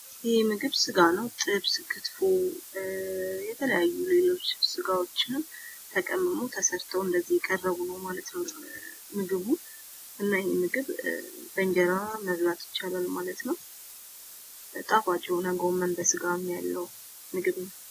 ይህ ምግብ ስጋ ነው። ጥብስ፣ ክትፎ የተለያዩ ሌሎች ስጋወችም ተቀምሞ ተሰርቶ እንደዚህ እየቀረቡ ነው ማለት ነው ምግቡ። እና ይሄን ምግብ በእንጀራ መብላት ይቻላል ማለት ነው። ጣፋጭ የሆነ ጎመን በስጋም ያለው ምግብ ነው።